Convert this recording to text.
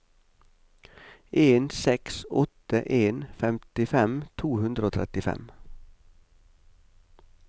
en seks åtte en femtifem to hundre og trettifem